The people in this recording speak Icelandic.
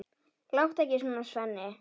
Láttu ekki svona, Svenni.